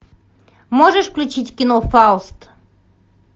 можешь включить кино фауст